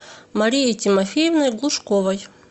марией тимофеевной глушковой